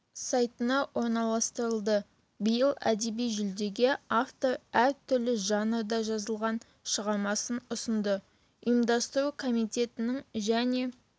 сайтына орналастырылды биыл әдеби жүлдеге автор әр түрлі жанрда жазылған шығармасын ұсынды ұйымдастыру комитетінің және